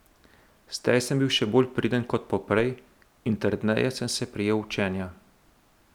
Zdaj sem bil še bolj priden kot poprej in trdneje sem se prijel učenja.